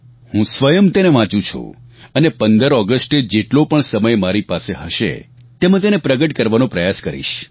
હું સ્વયં તેને વાંચું છું અને 15 ઓગસ્ટે જેટલો પણ સમય મારી પાસે હશે તેમાં તેને પ્રગટ કરવાનો પ્રયાસ કરીશ